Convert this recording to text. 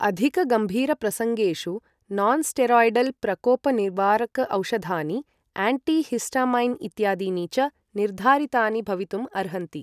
अधिकगम्भीरप्रसङ्गेषु nonsteroidal प्रकोप निवारक औषधानि, एण्टी हिस्टामाइन् इत्यादीनि च निर्धारितानि भवितुम् अर्हन्ति ।